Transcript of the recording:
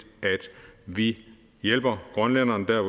at vi hjælper grønlænderne der